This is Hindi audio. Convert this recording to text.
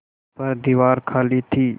पर दीवार खाली थी